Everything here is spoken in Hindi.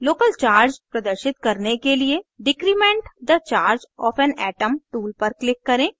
local charge प्रदर्शित करने के लिए decrement the charge of an atom tool पर click करें